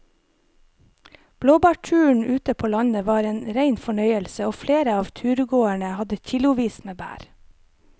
Blåbærturen ute på landet var en rein fornøyelse og flere av turgåerene hadde kilosvis med bær.